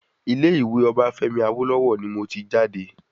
Ilé ìwé Obafemi Awolowo ni mo ti jáde